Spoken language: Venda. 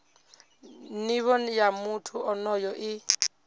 nivho ya muthu onoyo i